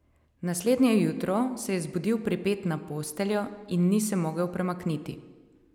Naslednje jutro se je zbudil pripet na posteljo in ni se mogel premakniti.